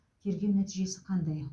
тергеу нәтижесі қандай